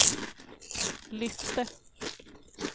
lyfte